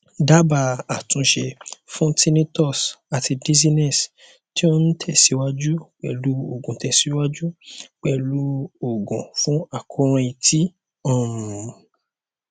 dábàá àtúnṣe fún tinnitus àti dizziness tí ó ń tẹsíwájú pẹlú òògùn tẹsíwájú pẹlú òògùn fún àkóràn etí um